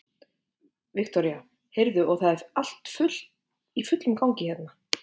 Viktoría: Heyrðu, og það er allt í fullum gangi hérna?